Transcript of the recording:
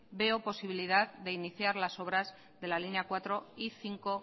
veo posibilidad de iniciar las obras de la línea cuatro y cinco